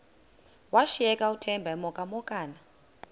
washiyeka uthemba emhokamhokana